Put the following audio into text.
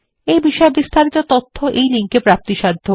এই বিষয় বিস্তারিত তথ্য এই লিঙ্ক এ প্রাপ্তিসাধ্য